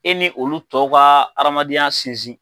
E ni olu tɔw ka aradamadenya sinsin.